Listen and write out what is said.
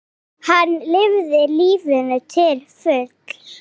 Hann lifði lífinu til fulls.